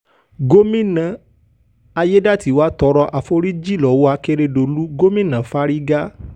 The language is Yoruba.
gómìnà aiyedàatiwá tọrọ àforíjì lọ́wọ́ àkèrèdòlù gómìnà fárígá